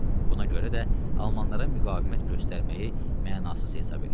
Buna görə də almanlara müqavimət göstərməyi mənasız hesab eləyir.